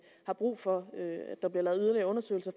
har brug for der bliver lavet yderligere undersøgelser